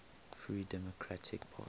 free democratic party